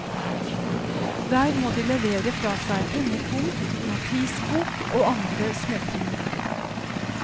Der må de levere fra seg pengepung, notisbok og andre småting.